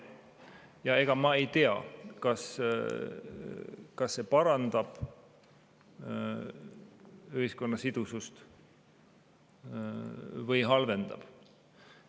Ja ega ma ei tea, kas see parandab ühiskonna sidusust või halvendab.